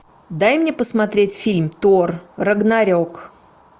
дай мне посмотреть фильм тор рагнарек